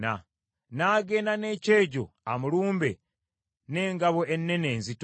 n’agenda n’ekyejo amulumbe, n’engabo ennene enzito.